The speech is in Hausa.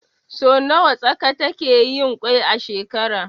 Sau nawa tsaka takeyin kwai a shekara?